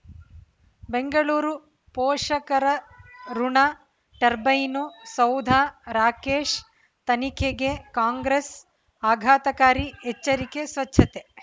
ಬೆಂಗಳೂರು ಪೋಷಕರಋಣ ಟರ್ಬೈನು ಸೌಧ ರಾಕೇಶ್ ತನಿಖೆಗೆ ಕಾಂಗ್ರೆಸ್ ಆಘಾತಕಾರಿ ಎಚ್ಚರಿಕೆ ಸ್ವಚ್ಛತೆ